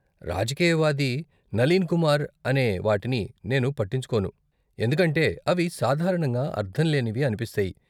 రాజకీయవాది నలీన్ కుమార్ అనే వాటిని నేను పట్టించుకోను, ఎందుకంటే అవి సాధారణంగా అర్ధం లేనివి అనిపిస్తాయి.